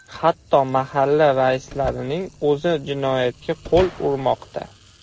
Hatto mahalla raislarining o‘zi jinoyatga qo‘l urmoqda.